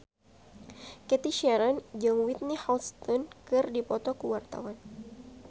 Cathy Sharon jeung Whitney Houston keur dipoto ku wartawan